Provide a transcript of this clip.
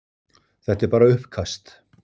Þetta er bara uppkast.